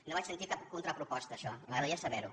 no vaig sentir cap contraproposta a això i m’agradaria saber la